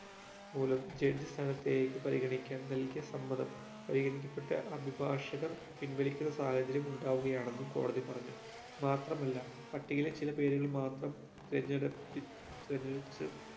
മൂലം judge സ്ഥാനത്തേക്ക് പരിഗണിക്കാൻ നൽകിയ സമ്മതം പരിഗണിക്കപ്പെട്ട അഭിഭാഷകർ പിൻവലിക്കുന്ന സാഹചര്യം ഉണ്ടാവുകയാണെന്നും കോടതി പറഞ്ഞു മാത്രമല്ല പട്ടികയിലെ ചില പേരുകൾ മാത്രം തിരഞ്ഞെടുപ്പി തിരഞ്ഞെടുക്ക